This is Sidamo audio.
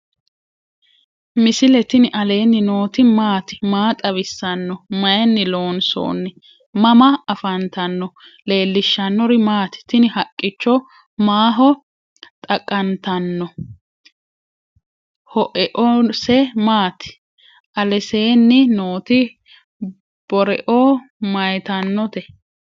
misile tini alenni nooti maati? maa xawissanno? Maayinni loonisoonni? mama affanttanno? leelishanori maati? tini haqicho maaho xaqanta no ?hoeose maati? aleseni noti boreo mayitanote?